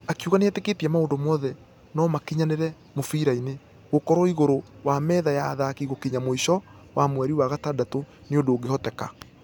Akĩuga nĩitekĩtie maũndũ mothe nũmakinyanĩre mũfira-inĩ. Gũkorwo ĩgũrũ wa metha ya athaki gũkinya mũisho wa mweri wa gatandatũ nĩ ũndũ ũngĩhoteka.